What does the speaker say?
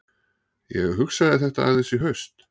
Ég hugsaði þetta aðeins í haust.